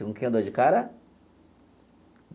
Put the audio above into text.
Com quem eu dou de cara?